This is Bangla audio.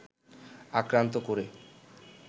আক্রান্ত করে